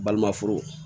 Balima furu